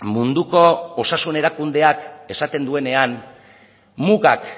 munduko osasun erakundeak esaten duenean mugak